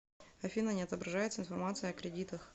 афина не отображается информация о кредитах